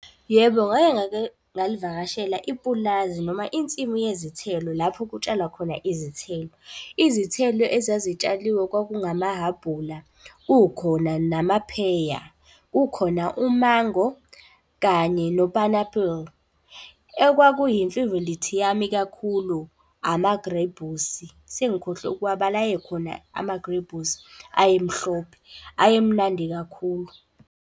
Yebo, ngake ngalivakashela ipulazi noma insimu yezithelo lapho kutshalwa khona izithelo. Izithelo ezazitshaliwe kwakungamahhabhula, kukhona namapheya, kukhona umango kanye nopanapul. Ekwakuyimfivilithi yami kakhulu amagrebhusi sengikhohlwe ukuwabala, ayekhona amagrebhusi, aye mhlophe. Ayemnandi kakhulu.